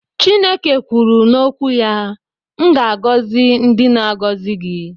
Chineke kwuru n'okwu ya "M ga-agọzi ndị na-agọzi gị